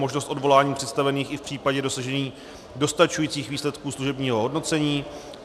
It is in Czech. Možnost odvolání představených i v případě dosažení dostačujících výsledků služebního hodnocení.